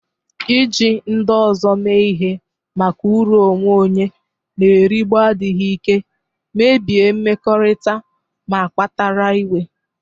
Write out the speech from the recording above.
Iji ndị ọzọ eme ihe maka uru onwe onye na-erigbu adịghị ike, mebie mmekọrịta, ma kpatara iwe.